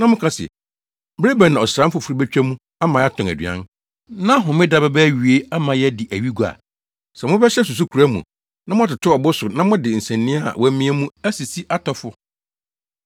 na moka se, “Bere bɛn na ɔsram foforo betwa mu ama yɛatɔn aduan, na Homeda bɛba awiei ama yɛadi awi gua?” Sɛ mobɛhyɛ susukoraa mu na moatoto ɔbo so na mode nsania a wɔamia mu asisi atɔfo,